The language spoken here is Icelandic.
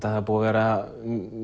það var búið að vera